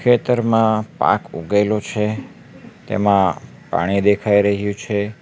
ખેતરમાં પાક ઉગેલો છે તેમાં પાણી દેખાઈ રહ્યું છે.